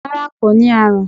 rara ko ni arun